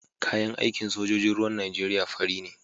Kayan aikin sojojin ruwan Nijeriya fari ne.